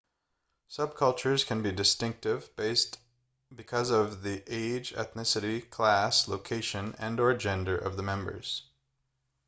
subcultures can be distinctive because of the age ethnicity class location and/or gender of the members